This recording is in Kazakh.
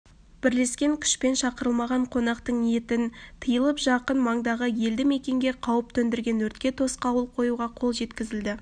бірлескен күшпен шақырылмаған қонақтың ниетін тиылып жақын маңдағы елді-мекенге қауіп төндірген өртке тосқауыл қоюға қол жеткізілді